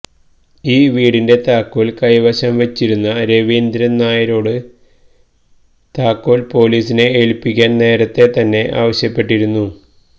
ഈ വീടിന്റെ താക്കോല് കൈവശം വെച്ചിരുന്ന രവീന്ദ്രന് നായരോട് താക്കോല് പൊലീസിനെ ഏല്പ്പിക്കാന് നേരത്തെ തന്നെ ആവശ്യപ്പെട്ടിരുന്നു